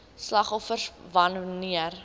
slagoffers wan neer